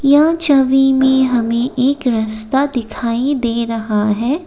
यह छवि में हमें एक रस्ता दिखाई दे रहा है।